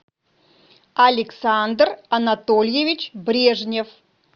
александр анатольевич брежнев